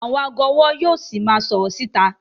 Àwọn ago ọwọ yíò sì máa sọrọ síta